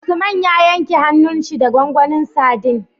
Usman ya yanke hanun shi da gwangwanin sadin